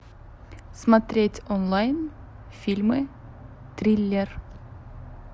смотреть онлайн фильмы триллер